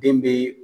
Den be